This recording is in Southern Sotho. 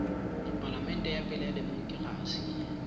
palamente ya pele ya demokerasi